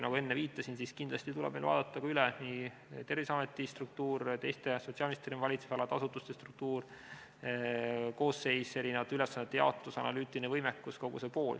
Nagu enne viitasin, kindlasti tuleb meil vaadata üle Terviseameti struktuur, teiste sotsiaalministri valitsusala asutuste struktuur, koosseis, ülesannete jaotus, analüütiline võimekus, kogu see pool.